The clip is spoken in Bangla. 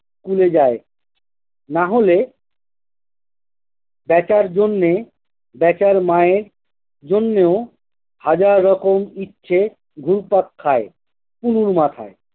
school এ যায় নাহলে বেচার জন্যে বেচার মায়ের জন্যেও হাজার রকম ইচ্ছে ঘুরপাক খায় কুনুর মাথায়